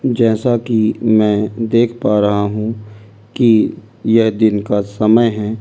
जैसा कि मैं देख पा रहा हूं कि यह दिन का समय है ।